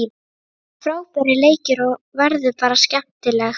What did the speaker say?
Það eru frábærir leikir og verður bara skemmtilegt.